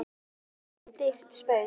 gæti orðið föður mínum dýrt spaug.